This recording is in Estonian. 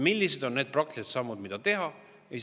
Millised on need praktilised sammud, mida teha?